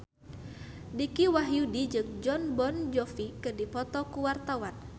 Dicky Wahyudi jeung Jon Bon Jovi keur dipoto ku wartawan